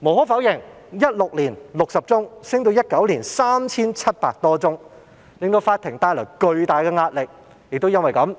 無可否認，由2016年的60宗上升至2019年的 3,700 多宗，確實為法庭帶來巨大壓力，因此